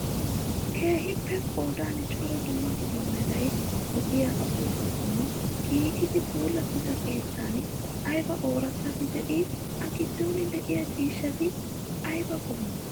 Keehippe qodan cora dumma dumma mera lo'iyaa upuuppatun giigidi puulattida keettan ayiba oorattabi de'ii? A giddon diyaa ciishshati ayiba qommoo?